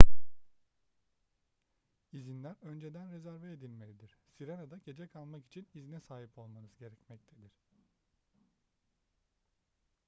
i̇zinler önceden rezerve edilmelidir. sirena'da gece kalmak için izne sahip olmanız gerekmektedir